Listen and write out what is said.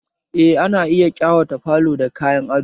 Eh ana iya kawata falo da kayan ado